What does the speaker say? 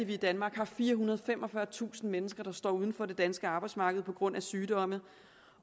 vi i danmark har firehundrede og femogfyrretusind mennesker der står uden for det danske arbejdsmarked på grund af sygdom